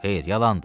Xeyr, yalandır.